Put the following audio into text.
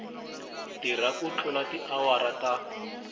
tirha ku tlula tiawara ta